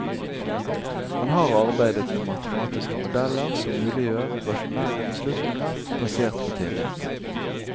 Han har arbeidet med matematiske modeller som muliggjør rasjonelle beslutninger basert på tillit.